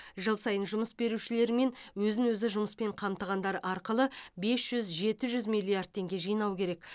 жыл сайын жұмыс берушілер мен өзін өзі жұмыспен қамтығандар арқылы бес жүз жеті жүз миллиард теңге жинау керек